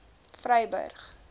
vryburg